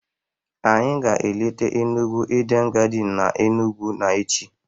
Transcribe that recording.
anyi ga eleta Enugu Eden garden n'Enugwu n'echi.